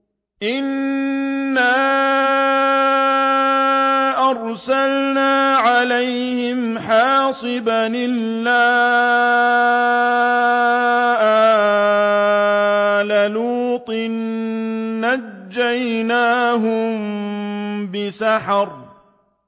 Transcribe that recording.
إِنَّا أَرْسَلْنَا عَلَيْهِمْ حَاصِبًا إِلَّا آلَ لُوطٍ ۖ نَّجَّيْنَاهُم بِسَحَرٍ